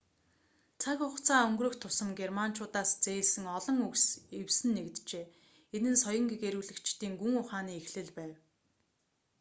цаг хугацаа өнгөрөх тусам германчуудаас зээлсэн олон үгс эвсэн нэгджээ энэ нь соён гэгээрүүлэгчдийн гүн ухааны эхлэл байв